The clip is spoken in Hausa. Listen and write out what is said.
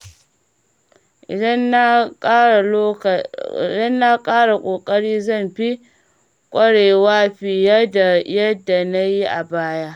Idan na ƙara kokari, zan fi ƙwarewa fiye da yadda na yi a baya.